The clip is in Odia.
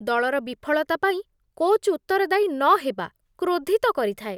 ଦଳର ବିଫଳତା ପାଇଁ କୋଚ୍ ଉତ୍ତରଦାୟୀ ନହେବା କ୍ରୋଧିତ କରିଥାଏ।